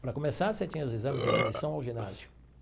Para começar, você tinha os exames de admissão ao ginásio.